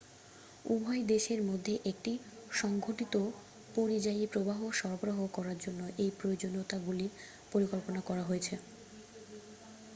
উভয় দেশের মধ্যে একটি সংঘটিত পরিযায়ী প্রবাহ সরবরাহ করার জন্য এই প্রয়োজনীয়তাগুলির পরিকল্পনা করা হয়েছে